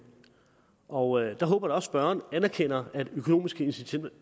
og jeg håber da spørgeren anerkender at økonomiske